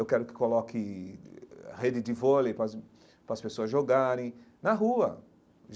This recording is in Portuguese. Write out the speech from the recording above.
Eu quero que coloque rede de vôlei para as para as pessoas jogarem na rua.